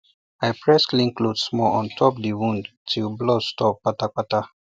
i press clean cloth small on top the wound till blood stop kpata kpata